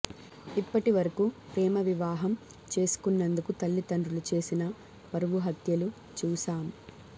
ఇప్పటి వరకు ప్రేమ వివాహం చేసుకున్నందుకు తల్లిదండ్రులు చేసిన పరువు హత్యలు చూశాం